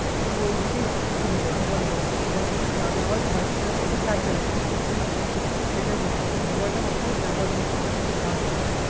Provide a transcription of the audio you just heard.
ওই দিকে আসক্ত হয়ে যাবে mobile এর প্রতি mobile তা যদি না দেয় হয় তো বাচ্চারা দেখবে কাঁদতে লাগবে সে সেটাই বলছি যে mobile তা অতো ব্যবহার যোযোনা করবার